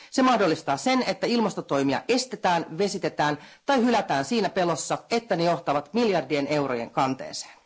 Se mahdollistaa sen, että ilmastotoimia estetään, vesitetään tai hylätään siinä pelossa, että ne johtavat miljardien eurojen kanteeseen.